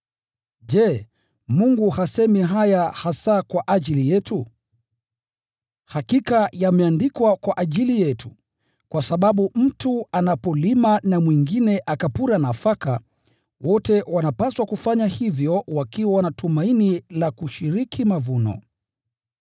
Je, Mungu hasemi haya hasa kwa ajili yetu? Hakika yameandikwa kwa ajili yetu, kwa sababu mtu anapolima na mpuraji akapura nafaka, wote wanapaswa kufanya hivyo wakiwa na tumaini la kushiriki mavuno.